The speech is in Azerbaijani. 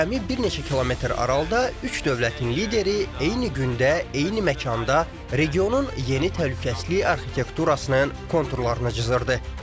Cəmi bir neçə kilometr aralıda üç dövlətin lideri eyni gündə, eyni məkanda regionun yeni təhlükəsizlik arxitekturasının konturlarını cızırdı.